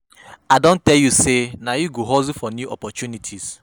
I don tell you sey na you go hustle for new opportunities.